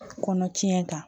Kɔnɔ tiɲɛ kan